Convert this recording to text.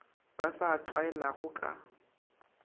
ba sa a tlwaelago ka